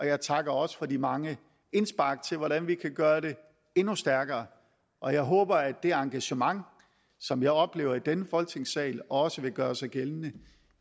jeg takker også for de mange indspark til hvordan vi kan gøre det endnu stærkere og jeg håber at det engagement som jeg oplever i denne folketingssal også vil gøre sig gældende